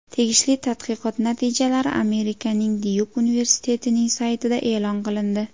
Tegishli tadqiqot natijalari Amerikaning Dyuk universitetining saytida e’lon qilindi .